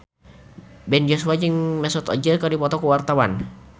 Ben Joshua jeung Mesut Ozil keur dipoto ku wartawan